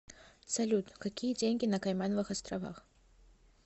салют какие деньги на каймановых островах